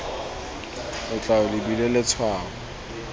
o tla o lebile letshwao